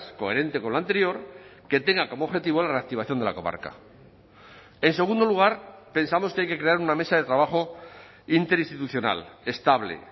coherente con lo anterior que tenga como objetivo la reactivación de la comarca en segundo lugar pensamos que hay que crear una mesa de trabajo interinstitucional estable